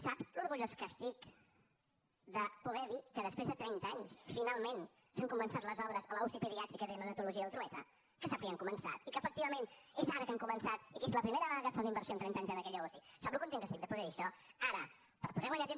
sap l’orgullós que estic de poder dir que després de trenta anys finalment s’han començat les obres a la uci pediàtrica i de neonatologia del trueta que sap que ja han començat i que efectivament és ara que han començat i que és la primera vegada que es fa una inversió en trenta anys en aquella uci sap el content que estic de poder dir això ara per poder guanyar temps